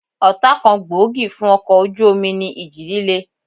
Ọ̀tá kan gbòógì fún ọkọ̀ ojú omi ní ìjì líle